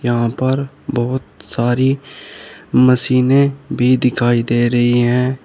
यहां पर बहोत सारी मशीनें भी दिखाई दे रही हैं।